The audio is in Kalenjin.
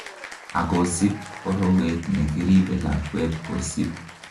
akosib borowet nekoribe lakwet kosib